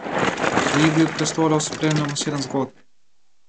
V Igri prestolov spremljamo sedem zgodb.